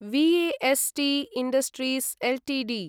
VST Industries Ltd